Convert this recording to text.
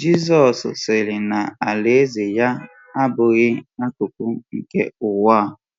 Jizọs sịrị na alaeze ya abụghị akụkụ nke ụwa a.